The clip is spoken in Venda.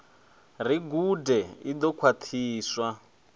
ri gude i ḓo khwaṱhiswa